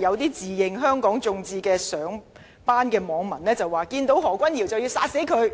有自稱香港眾志的上班網民說，當看到何君堯議員便要殺死他。